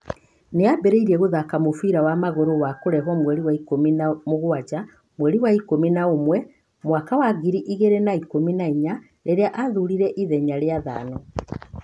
Nĩambĩrĩirie gũthaaka mũbira wa magũrũ wa kũrehuo mweri wa ikũmi na mũgwanja mweri wa ikũmi na ũmwe mwaka wa ngiri igĩrĩ na ikũmi na inya rĩrĩa aaĩhuririe ithenya rĩa Thano